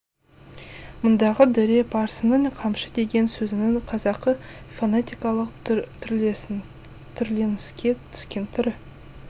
мұндағы дүре парсының қамшы деген сөзінің қазақы фонетикалық түрленіске түскен түрі